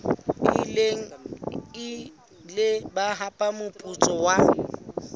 ile ba hapa moputso wa